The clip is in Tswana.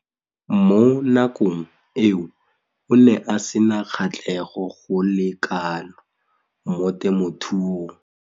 Mo nakong eo o ne a sena kgatlhego go le kalo mo temothuong.